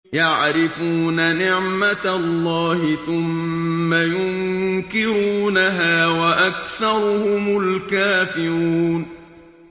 يَعْرِفُونَ نِعْمَتَ اللَّهِ ثُمَّ يُنكِرُونَهَا وَأَكْثَرُهُمُ الْكَافِرُونَ